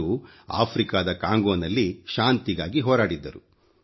ಅವರು ಆಫ್ರಿಕಾದ ಕಾಂಗೋನಲ್ಲಿ ಶಾಂತಿಗಾಗಿ ಹೋರಾಡಿದ್ದರು